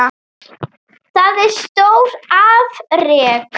Það er stór afrek.